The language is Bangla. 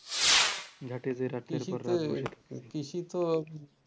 ঘাটে যে রাতের পর রাত বসে থাকতে হয়েছে